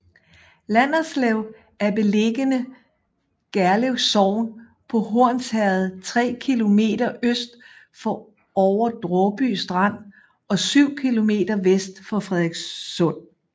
Landerslev er beliggende Gerlev Sogn på Hornsherred tre kilometer øst for Over Dråby Strand og syv kilometer vest for Frederikssund